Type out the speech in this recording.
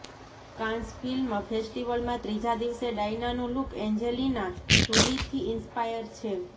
Cannes film ફેસ્ટિવલમાં ત્રીજા દિવસે ડાયનાનો લુક એન્જેલિના જોલીથી ઇંસ્પાયર છે